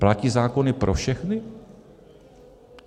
Platí zákony pro všechny?